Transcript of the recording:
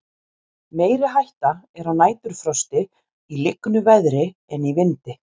meiri hætta er á næturfrosti í lygnu veðri en í vindi